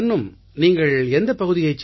தரன்னும் நீங்கள் எந்தப் பகுதியைச்